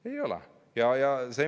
Ei ole.